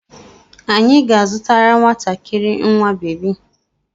Anyị ga-azụtara nwatakiri nwa bebi.